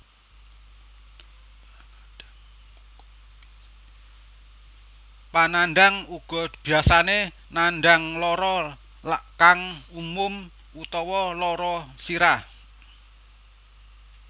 Panandhang uga biyasane nandhang lara kang umum utawa lara sirah